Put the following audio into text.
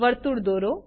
વર્તુળ દોરો